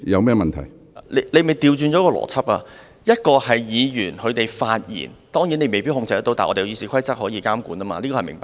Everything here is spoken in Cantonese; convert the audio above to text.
主席當然未必可以控制議員的發言，但立法會《議事規則》可以監管，這是明白的。